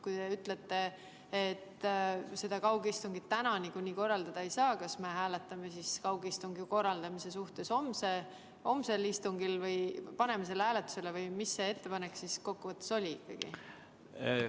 Kui te ütlete, et kaugistungit täna niikuinii korraldada ei saa, siis kas me paneme hääletusele kaugistungi korraldamise homsel istungil või milline see ettepanek kokkuvõttes oli?